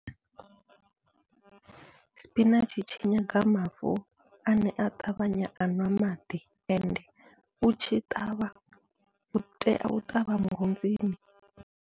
Sipinatshi tshi nyanga mavu ane a ṱavhanya a nwa maḓi, ende utshi ṱavha utea u ṱavha murunzini.